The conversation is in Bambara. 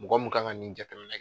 Mɔgɔ mun kan ka nin jateminɛ.